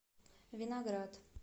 виноград